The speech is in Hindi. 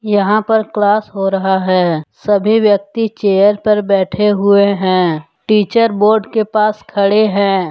यहां पर क्लास हो रहा है सभी व्यक्ति चेयर पर बैठे हुए हैं टीचर बोर्ड के पास खड़े हैं।